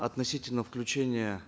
относительно включения